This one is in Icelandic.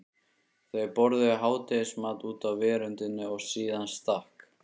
Þau borðuðu hádegismat úti á veröndinni og síðan stakk